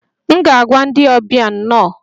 M ga-agwa ndị ọbịa 'nno'